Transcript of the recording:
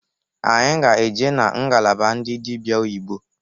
Anyị ga eje na ngalaba ndị dịbịa oyibo.